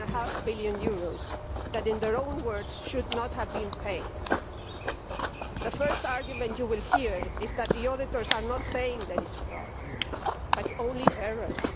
1.5 billion that, in their own words, should not have been paid. The first argument you will hear is that the auditors are not saying that it is fraud, but only errors.